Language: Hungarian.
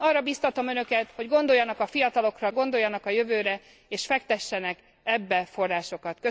Arra bíztatom Önöket, hogy gondoljanak a fiatalokra, gondoljanak a jövőre, és fektessenek ebbe forrásokat.